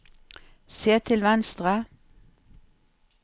se til venstre